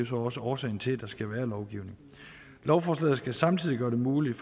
så også årsagen til at der skal være lovgivning lovforslaget skal samtidig gøre det muligt